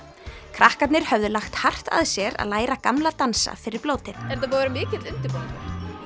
krakkarnir höfðu lagt hart af sér að læra gamla dansa fyrir blótið er þetta búinn að vera mikill undirbúningur